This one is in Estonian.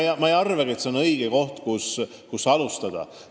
Pealegi pole see õige koht, kust alustada.